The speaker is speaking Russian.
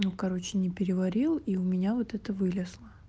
ну короче не переварил и у меня вот это вылезло